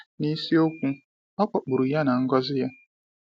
N’isiokwu, ọ kpọkpụrụ ya na ngọzi ya.